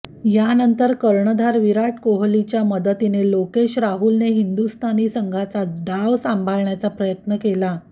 यानंतर कर्णधार विराट कोहलीच्या मदतीने लोकेश राहुलने हिंदुस्थानी संघाचा डाव सांभाळण्याचा प्रयत्न केला